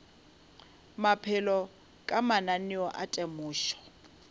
maphelo ka mananeo a temošo